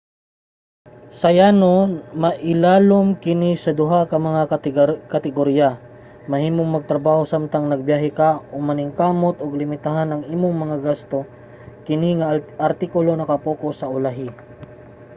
sa yano mailalom kini sa duha ka mga kategorya: mahimong magtrabaho samtang nagabiyahe ka o maningkamot ug limitahan ang imong mga gasto. kini nga artikulo naka-pocus sa ulahi